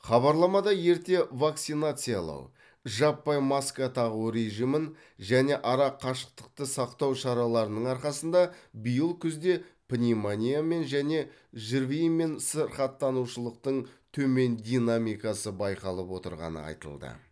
хабарламада ерте вакцинациялау жаппай маска тағу режимін және ара қашықтықты сақтау шараларының арқасында биыл күзде пневмониямен және жрви мен сырқаттанушылықтың төмен динамикасы байқалып отырғаны айтылды